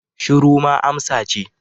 Shiru ma amsa ce